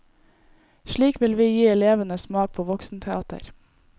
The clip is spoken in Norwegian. Slik vil vi gi elevene smak på voksenteater.